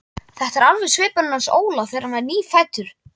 Þetta er alveg svipurinn hans Óla þegar hann var nýfæddur.